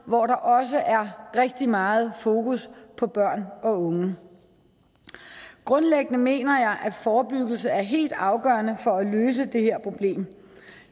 hvor der også er rigtig meget fokus på børn og unge grundlæggende mener jeg at forebyggelse er helt afgørende for at løse det her problem